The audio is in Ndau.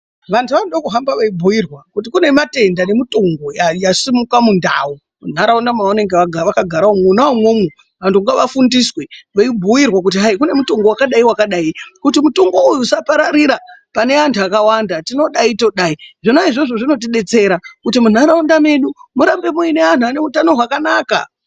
Vantu vanoda kuhamba veibhuirwa kuti kune matenda nemutungu yasumuka mundau, munharaunda mavanenge vakagara mwona imwomwo vantu ngavafundiswe veibhuirwa kuti hai kunemitundu vakadai vakadai kuti mutungu uyu usapararira pane antu akawanda tinodai todai. Zvona izvozvo zvinotibetsera kuti munharaunda medu murambe muine antu ane utano hwakanaka.